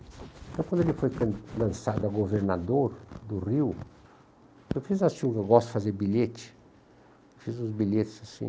Então, quando ele foi can lançado a governador do Rio, eu fiz um negócio de fazer bilhete, fiz uns bilhetes assim.